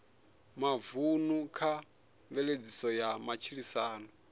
mavunḓu kha mveledziso ya matshilisano